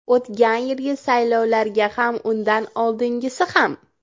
O‘tgan yilgi saylovlarga ham, undan oldingisi ham.